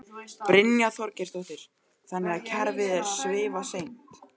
Brynja Þorgeirsdóttir: Þannig að kerfið er svifaseint?